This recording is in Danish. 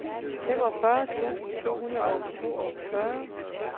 femogfyrre tusind to hundrede og toogfyrre